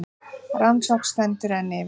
Rannsókn stendur enn yfir